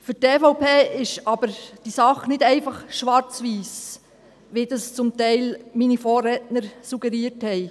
Für die EVP ist aber diese Sache nicht einfach schwarz-weiss, wie das zum Teil meine Vorredner suggeriert haben.